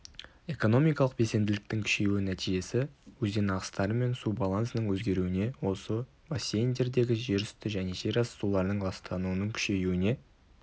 экономикалық белсенділіктің күшеюінің нәтижесі өзен ағыстары мен су балансының өзгеруіне осы бассейндердегі жерүсті және жерасты суларының ластануының күшеюіне